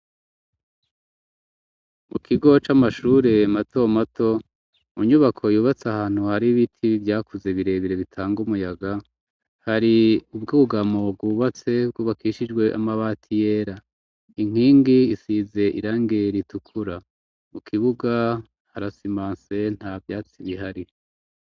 Mu kigo c'amashure mato mato mu nyubako yubatse ahantu hari ibiti vyakuze birebire bitanga umuyaga hari ubwugamo bwubatse bwubakishijwe amabati yera inkingi isize irangi ritukura, mu kibuga harasimanse nta vyatsi bihari.